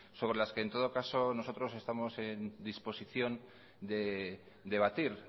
sobre las que en todo caso nosotros estamos en disposición de debatir